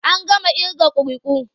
An gama ƙirga ƙuri'u.